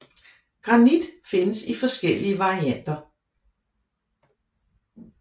Granit findes i flere forskellige varianter